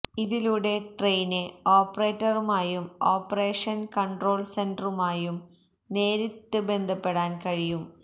ഇതിലൂടെ ട്രെയിന് ഓപ്പറേറ്ററുമായും operation control സെന്ററുമായും നേരിട്ട് ബന്ധപ്പെടാന് കഴിയും